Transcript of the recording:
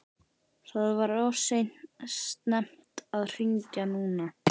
Það var of snemmt að hringja núna.